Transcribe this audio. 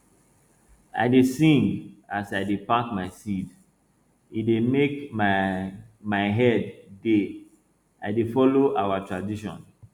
i dey sing as i dey pack my seed e dey make my my head dey i dey follow our tradition